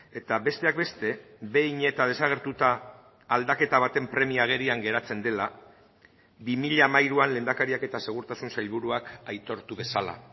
eta besteak beste behin eta desagertuta aldaketa baten premia agerian geratzen dela bi mila hamairuan lehendakariak eta segurtasun sailburuak aitortu bezala